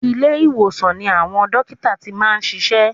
Ilé ìwòsan ni àwọn dókítà ti máa ń ṣiṣẹ́.